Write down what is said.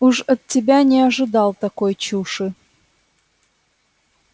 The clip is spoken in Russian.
уж от тебя не ожидал такой чуши